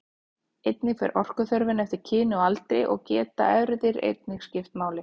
Einnig fer orkuþörfin eftir kyni og aldri og geta erfðir einnig skipt máli.